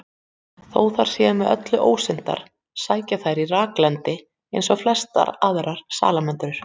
Þó þær séu með öllu ósyndar sækja þær í raklendi eins og flestar aðrar salamöndrur.